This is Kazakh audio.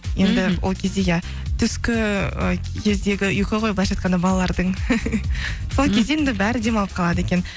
ол кезде иә түскі і кездегі ұйқы ғой былайынша айтқанда балалардың сол кезде енді бәрі демалып қалады екен